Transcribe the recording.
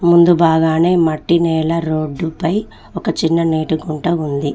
ముందు బాగానే మట్టి నేల రోడ్డు పై ఒక చిన్న నీటికుంటా ఉంది.